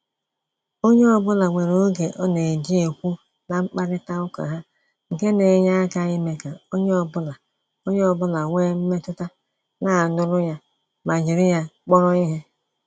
Onye ọbụla nwere oge ọ na-eji ekwu na-mkparịta uka ha, nke na enye aka ime ka onye ọ bụla onye ọ bụla wee mmetụta na anuru ya ma jiri ya kpọrọ ihe